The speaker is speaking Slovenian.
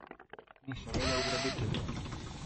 In seveda ugrabiteljev.